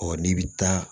Ɔ n'i bɛ taa